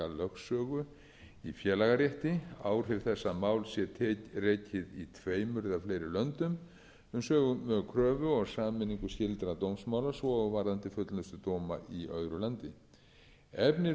lögsögu í félagarétti áhrif þess að mál sé rekið í tveimur eða fleiri löndum um sömu kröfu eða sameiningu skyldra dómsmála svo og varðandi fullnustudóma í öðru landi efni